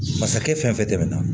Masakɛ fɛn fɛn tɛmɛna